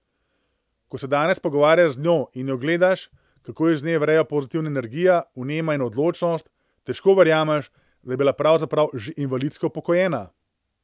Ko se danes pogovarjaš z njo in jo gledaš, kako iz nje vrejo pozitivna energija, vnema in odločnost, težko verjameš, da je bila pravzaprav že invalidsko upokojena.